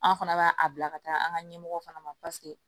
An fana b'a a bila ka taa an ka ɲɛmɔgɔ fana ma